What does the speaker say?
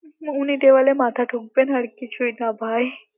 উনি দেওয়ালে মাথা ঠুকবেন আর কিছুই না ভাই